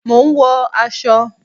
Mò ń wọ aṣọ